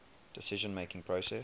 decision making process